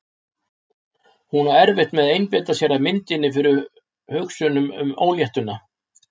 Hún á erfitt með að einbeita sér að myndinni fyrir hugsunum um óléttuna.